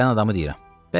Təzə gələn adamı deyirəm.